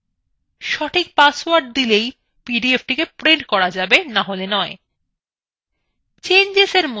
সঠিক পাসওয়ার্ড দিলেই PDF printed করা যাবে নাহলে নয়